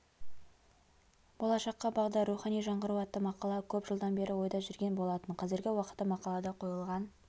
болашаққа бағдар рухани жаңғыру атты мақала көп жылдан бері ойда жүрген болатын қазіргі уақытта мақалада қойылған